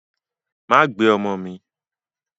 Má gbé ọmọ mi.